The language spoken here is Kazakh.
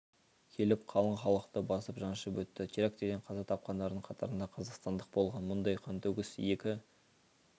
келіп қалың халықты басып жаншып өтті терактіден қаза тапқандардың қатарында қазақстандық болған мұндай қантөгіс екі